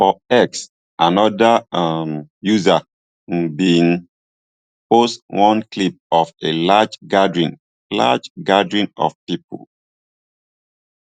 on x anoda um user um bin post one clip of a large gathering large gathering of pipo